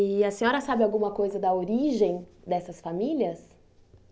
E a senhora sabe alguma coisa da origem dessas famílias?